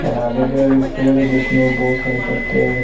ये के एक पेड़ है जिसमें बोहोत सारे पत्ते हैं।